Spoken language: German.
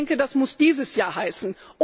Ich denke, das muss dieses Jahr heißen.